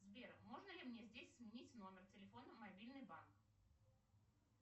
сбер можно ли мне здесь сменить номер телефона мобильный банк